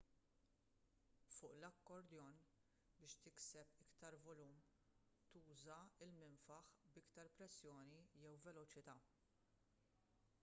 fuq l-accordion biex tikseb iktar volum tuża l-minfaħ b'iktar pressjoni jew veloċità